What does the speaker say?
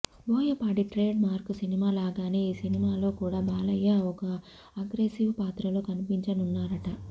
Boyapati trade mark సినిమా లాగానే ఈ సినిమాలో కూడా బాలయ్య ఒక అగ్రెసివ్ పాత్రలో కనిపించనున్నారట